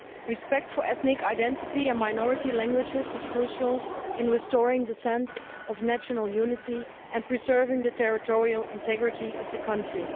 Respect for ethnic identity and minority languages is crucial in restoring the sense of national unity and preserving the territorial integrity of the country.